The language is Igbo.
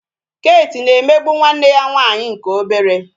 Kate na-emegbu nwanne ya nwaanyị nke obere